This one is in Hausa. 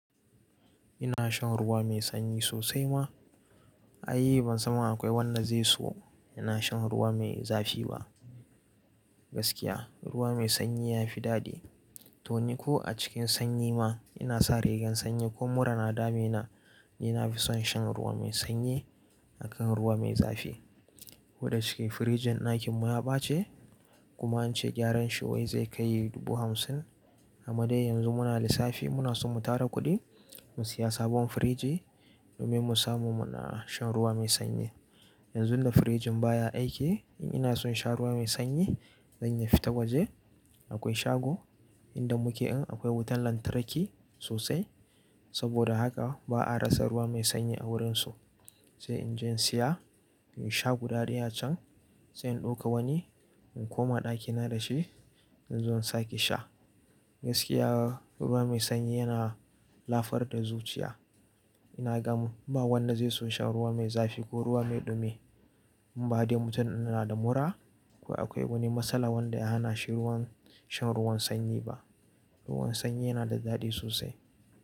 Ina shan ruwa mai sanyi sosai ma. Ai, ban san ma akwai wanda zai so yana shan ruwa mai zafi ba. Gaskiya, ruwa mai sanyi ya fi daɗi. To ni ko a cikin sanyi ma, ina sa rigan sanyi ko mura na dami na, ina fi son shan ruwa mai sanyi akan ruwa mai zafi. Koda shike firjin ɗakinmu ya ɓace, kuma an ce gyaran shi wai zai kai dubu hamsin. Amma dai yanzu muna lissafi, muna son mu tara kuɗin mu siya sabon firji domin mu samu mu na shan ruwa mai sanyi. Yanzun da firjin baya aiki, in ina son in sha ruwa mai sanyi, zan yi fita waje. Akwai shago inda muke in akwai wutan lantarki sosai. Saboda haka ba a rasa ruwa mai sanyi a wurin su. Sai in je in siya, in sha guda ɗaya can, sai in ɗauka wani in koma ɗakina da shi, in zo in sake sha. Gaskiya ruwa mai sanyi yana lafar da zuciya. Ina gam ba wanda zai so shan ruwa mai zafi ko ruwa mai ɗumi. Um ba dai mutum yana da mura ko akwai wani matsala wanda ya hana shi ruwan, shan ruwan sanyi ba. Ruwan sanyi yana da daɗi sosai.